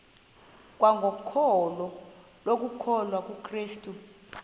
kwangokholo lokukholwa kukrestu